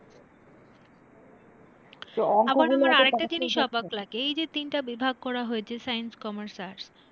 আমার আবার আরেকটা জিনিস অবাক লাগে এই যে তিনটে বিভাগ করা হয়েছে science, commerce, arts